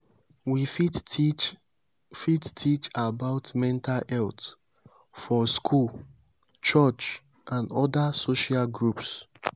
we fit teach fit teach about mental health for school church and oda social groups